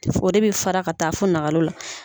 o de bɛ fara ka taa fo nakalo la.